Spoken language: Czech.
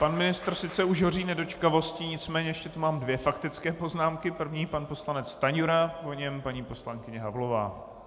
Pan ministr sice už hoří nedočkavostí, nicméně ještě tu mám dvě faktické poznámky, první pan poslanec Stanjura, po něm paní poslankyně Havlová.